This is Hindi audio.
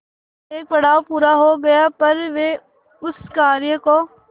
एक पड़ाव पूरा हो गया पर वे उस कार्य को